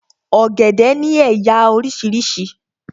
Ọ̀gẹ̀dẹ̀ ni éyá orísirísi